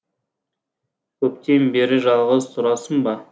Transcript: көптен бері жалғыз тұрасың ба